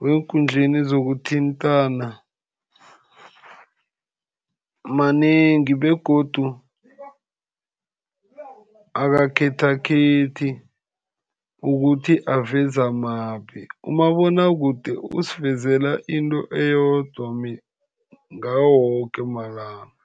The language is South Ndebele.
weenkundleni zokuthintana manengi, begodu akakhethakhethi ukuthi aveza maphi. Umabonwakude usivezela into eyodwa ngawo woke malanga.